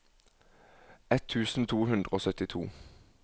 ett tusen to hundre og syttito